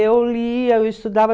Eu lia, eu estudava.